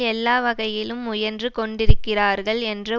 எல்லாவகையிலும் முயன்று கொண்டிருக்கிறார்கள் என்ற